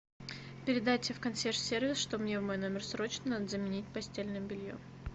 передайте в консьерж сервис что мне в мой номер срочно надо заменить постельное белье